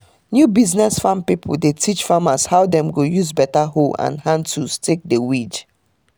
new business farm pipo dey teach farmers how dem go use better hoes and hand tools take dey weed